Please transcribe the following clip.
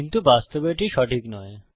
কিন্তু বাস্তবে এটি সঠিক নয়